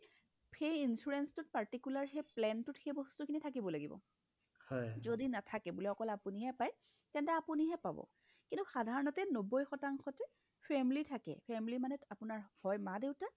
সেই insurance টোত particular সেই planটোত সেই বস্তুখিনি থাকিব লাগিব যদি নাথাকে বোলে আপুনিহে পাই তেনতে আপুনিহে পাব কিন্তু সাধাৰণতে নব্বৈ শতাংশতে family থাকে family মানে হয় মা- দেউতা